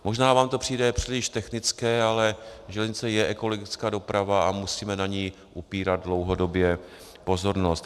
Možná vám to přijde příliš technické, ale železnice je ekologická doprava a musíme na ni upírat dlouhodobě pozornost.